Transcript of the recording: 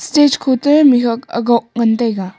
stage kho toh mihuat agok ngan taiga.